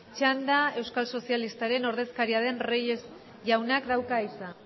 txanda euskal sozialistaren ordezkaria den reyes jaunak dauka hitza